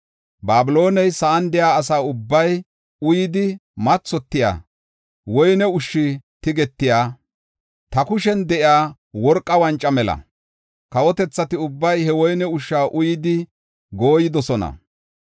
Babilooney sa7an de7iya asa ubbay uyidi mathotiya, woyne ushshi tigetiya, ta kushen de7iya worqa wanca mela. Kawotethati ubbay he woyne ushsha uyidi gooyidosona.